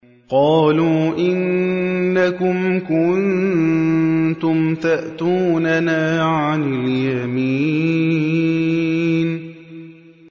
قَالُوا إِنَّكُمْ كُنتُمْ تَأْتُونَنَا عَنِ الْيَمِينِ